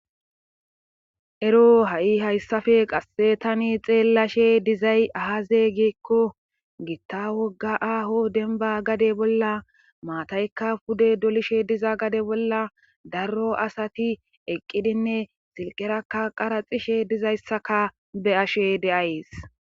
Ero ha7i hayssafe qasse tani xeellashe dizay ahazeygeekko giitta wogga aaho denba gade bolla maataykka pude dolishe diza gade bolla daro asati eqqidinne silqerakka qaraxishe dizayssaka be ashe deays